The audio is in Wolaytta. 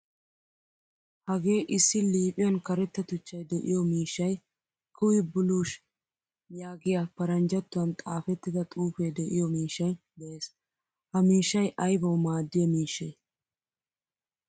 Hagee issi liiphphiyan karetta tuchchay de'iyo miishshay kiwi blush yaagiyaa paranjjattuwan xaafettida xuufe de'iyo miishshay de'ees. Ha miishshay aybawu maadiyaa miishshee?